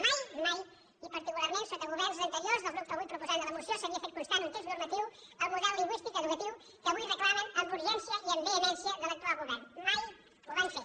mai mai i particular·ment sota governs anteriors del grup avui proposant de la moció s’havia fet constar en un text normatiu el mo·del lingüístic educatiu que avui reclamen amb urgència i amb vehemència a l’actual govern mai ho van fer